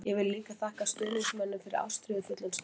Ég vil líka þakka stuðningsmönnum fyrir ástríðufullan stuðning.